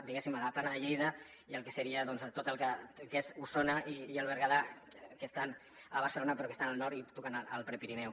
diguéssim a la plana de lleida i el que seria tot el que és osona i el berguedà que estan a barcelona però que estan al nord i tocant al prepirineu